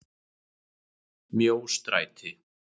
Mjóstræti